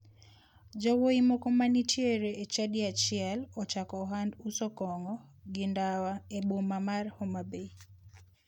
Yawuoyi moko ma nitiere e chadi achiel ochako ohand uso kong'o gi ndawa e boma mar homabay.